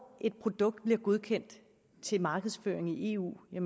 et produkt bliver godkendt til markedsføring i eu er